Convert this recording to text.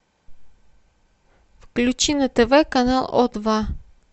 включи на тв канал о два